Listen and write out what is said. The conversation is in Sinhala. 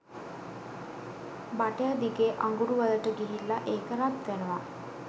බටය දිගේ අඟුරු වලට ගිහිල්ල ඒක රත් වෙනව